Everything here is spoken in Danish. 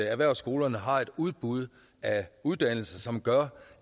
at erhvervsskolerne har et udbud af uddannelser som gør